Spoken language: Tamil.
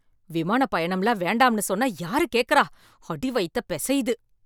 விமானப் பயணம்லாம் வேண்டாம்னு சொன்னா யாரு கேக்கறா, அடி வயத்த பிசையுது.